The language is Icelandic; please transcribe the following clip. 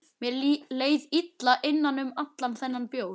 Mér leið illa innan um allan þennan bjór.